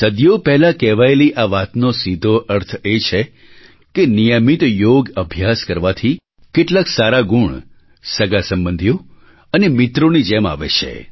સદીઓ પહેલાં કહેવાયેલી આ વાતનો સીધો અર્થ એ છે કે નિયમિત યોગ અભ્યાસ કરવાથી કેટલાક સારા ગુણ સગાંસંબંધીઓ અને મિત્રોની જેમ આવે છે